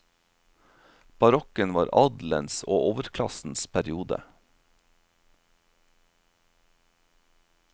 Barokken var adelens og overklassens periode.